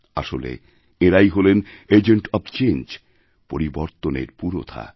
আসলে এঁরাই হলেন এজেন্ট ওএফ চেঞ্জ পরিবর্তনের পুরোধা